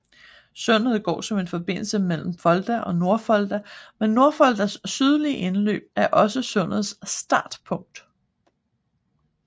Sundet går som en forbindelse mellem Folda og Nordfolda men Nordfoldas sydlige indløb er også sundets startpunkt